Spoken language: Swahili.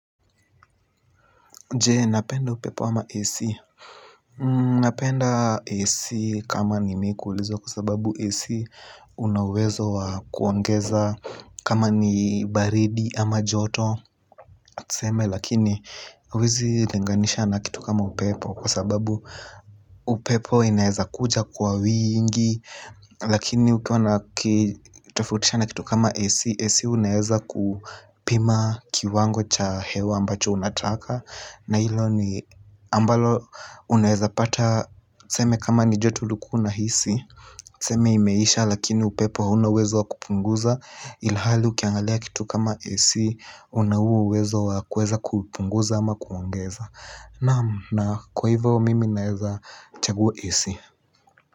Je, napenda upepo ama AC. Napenda AC kama ni mikuulizo kwa sababu AC. Unauwezo wa kuongeza kama ni baridi ama joto. Tseme lakini huwezi linganisha na kitu kama upepo. Kwa sababu upepo inaeza kuja kwa wingi lakini ukitofautisha na kitu kama AC Ac unaweza kupima kiwango cha hewa ambacho unataka na ilo ni ambalo unaeza pata tuseme. Tseme imeisha lakini upepo hauna uwezo wa kupunguza ilhali ukiangalia kitu kama AC unahuo uwezo wa kuweza kupunguza ama kuongeza. Naam kwa hivyo mimi naeza chagua AC.